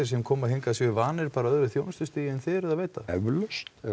sem koma hingað séu vanir bara öðru þjónustustigi en þið eruð að veita jú